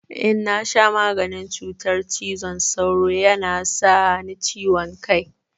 In na sha maganin cutar cizon sauro ya na sa ni ciwon kai.